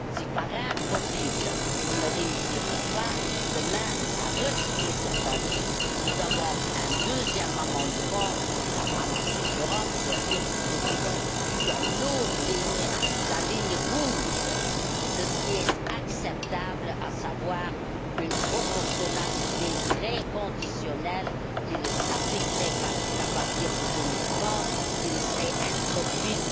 Si, par impossible, nous ne réussissions pas, demain, à rejeter ce principe, nous avons un deuxième amendement, qui n'a pas ma préférence, bien sûr, mais qui constitue dans nos rangs la ligne rouge de ce qui est acceptable, à savoir une proportionnalité très conditionnelle, qui ne s'appliquerait qu'à partir de 2030, qui ne serait introduite